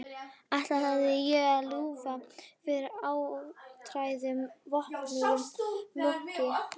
Ætlaði ég að lúffa fyrir áttræðum óvopnuðum munki?